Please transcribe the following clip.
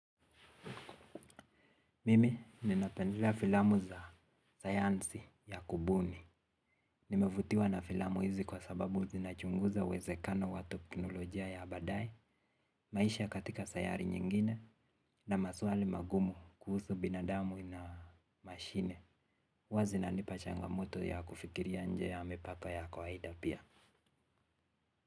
Mimi, ninapendelea filamu za sayansi ya kubuni. Nimevutiwa na filamu hizi kwa sababu zinachunguza uwezekano wa teknolojia ya baadaye, maisha katika sayari nyingine, na maswali magumu kuhusu binadamu na mashine. Huwa zinanipa changamoto ya kufikiria nje ya mipaka ya kwaida pia.